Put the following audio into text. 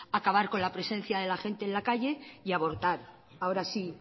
acabar con la presencia de la gente en la calle y abortar ahora sí